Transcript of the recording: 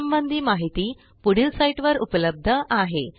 यासंबंधी माहिती पुढील साईटवर उपलब्ध आहे